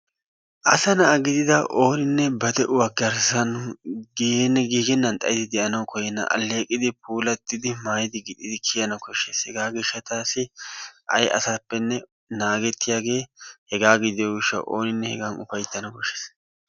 Asa na'a gidida oone ba de'uwa garssan giigennan xayidi de'anawu koyyena. Alleeqidi puulattidi maayidi gixxidi kiyana koshshees. Hegaa gishshataassi ay asappenne naagettiyaagee hegaa gidiyo gishshawu oonine hegan uffayttana koshshees.